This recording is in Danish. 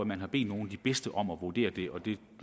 man har bedt nogle af de bedste om at vurdere dem og det